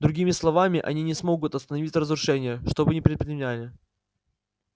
другими словами они не смогут остановить разрушение что бы ни предпринимали